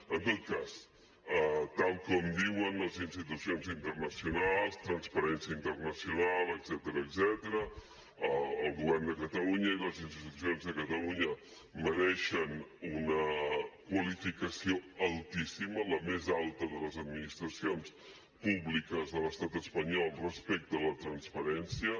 en tot cas tal com diuen les institucions internacionals transparència internacional etcètera el govern de catalunya i les institucions de catalunya mereixen una qualificació altíssima la més alta de les administracions públiques de l’estat espanyol respecte a la transparència